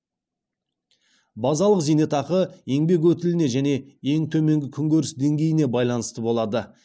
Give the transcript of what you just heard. базалық зейнетақы еңбек өтіліне және ең төменгі күнкөріс деңгейіне байланысты болады